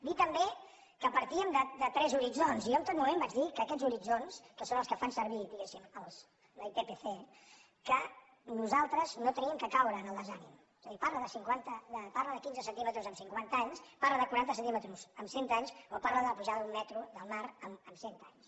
dir també que partíem de tres horitzons i jo en tot mo·ment vaig dir que aquests horitzons que són els que fan servir diguéssim la ippc que nosaltres no hem de caure en el desànim és a dir parla de quinze centíme·tres en cinquanta anys parla de quaranta centímetres en cent anys o parla de la pujada d’un metre del mar en cent anys